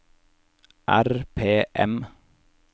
RPM